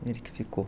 Ele que ficou.